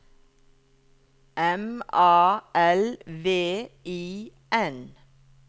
M A L V I N